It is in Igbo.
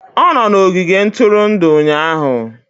Ọ nọ n'ogige ntụrụndụ ụnyahụ